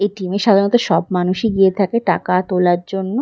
ATM. সাধারণত সব মানুষই গিয়ে থাকে টাকা তোলার জন্য।